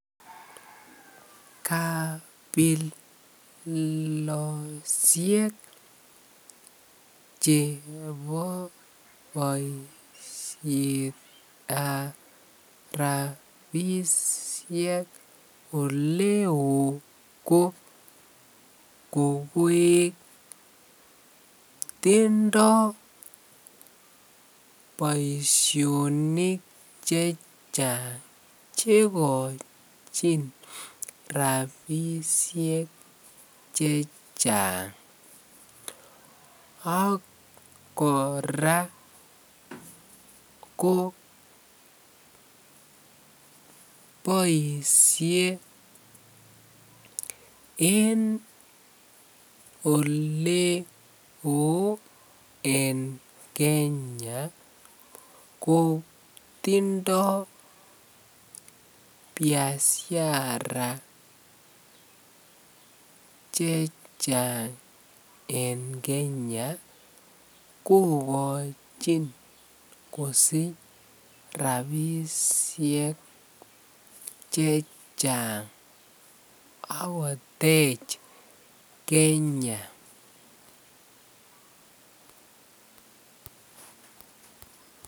Kabeloshek chebo boishetab rabishek oleo ko kokoek, tindo boishonik chechang chekochin rabishek chechang ak kora ko boishe en oleeo en Kenya kotindo biashara chechang en Kenya kokochin kosich rabishek chechang ak kotech Kenya.